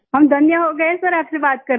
हम धन्य हो गए सर आपसे बात करके